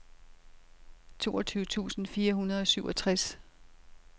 toogtyve tusind fire hundrede og syvogtres